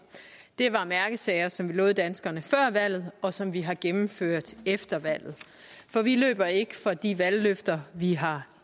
det var mærkesager som vi lovede danskerne før valget og som vi har gennemført efter valget for vi løber ikke fra de valgløfter vi har